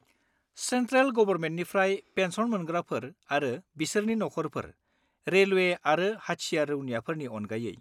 Central गबरमेन्टनिफ्राय pension मोनग्राफोर आरो बिसोरनि नखरफोर (रेलवे आरो हाथियार रौनियाफोरनि अनगायै)।